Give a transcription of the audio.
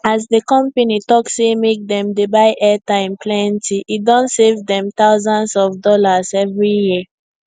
as the company talk say make dem dey buy airtime plenty e don save dem thousands of dollars every year